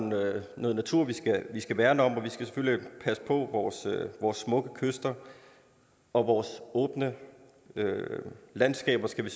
noget natur vi skal værne om og vi skal selvfølgelig passe på vores vores smukke kyster og vores åbne landskaber skal vi